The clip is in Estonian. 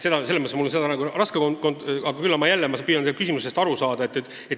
Selles mõttes on mul raske vastata, aga ma püüan teie küsimusest aru saada.